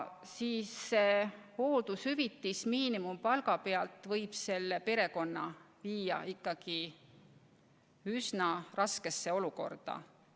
Hooldushüvitis, mis arvestatakse miinimumpalga pealt, võib selle perekonna viia ikka üsna raskesse olukorda.